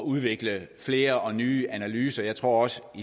udvikle flere og nye analyser jeg tror også at